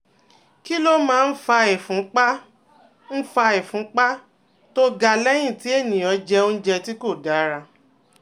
Kí ló máa ń fa ìfúnpá ń fa ìfúnpá tó ga lẹ́yìn tí ènìyàn jẹ oúnjẹ tí kò dára?